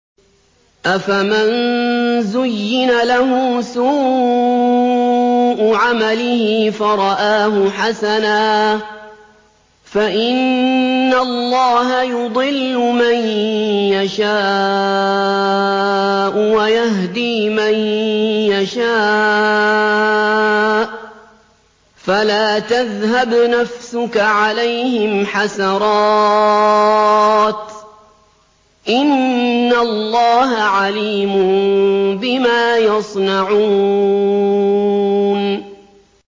أَفَمَن زُيِّنَ لَهُ سُوءُ عَمَلِهِ فَرَآهُ حَسَنًا ۖ فَإِنَّ اللَّهَ يُضِلُّ مَن يَشَاءُ وَيَهْدِي مَن يَشَاءُ ۖ فَلَا تَذْهَبْ نَفْسُكَ عَلَيْهِمْ حَسَرَاتٍ ۚ إِنَّ اللَّهَ عَلِيمٌ بِمَا يَصْنَعُونَ